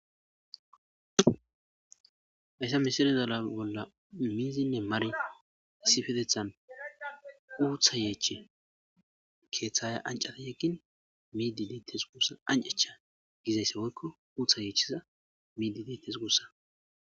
hayssa misirezala bolla miizinne mari issifetethan uutha yeechi keeththaya ancata yeggin miidi deettes gussa ancecha gizayssa goykko uutha yeechiza miidi deittes guussa